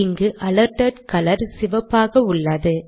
இங்கு alerted colour சிவப்பாக உள்ளது